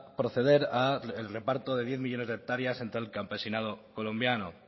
proceder al reparto de diez millónes de hectáreas entre el campesinado colombiano